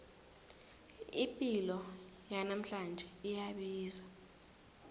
ipilo yanamhlanje iyabiza